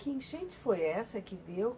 Que enchente foi essa que deu?